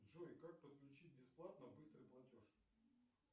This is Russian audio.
джой как подключить бесплатно быстрый платеж